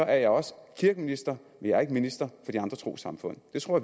er jeg også kirkeminister jeg er ikke minister for de andre trossamfund det tror